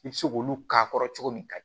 I bɛ se k'olu k'a kɔrɔ cogo min kayi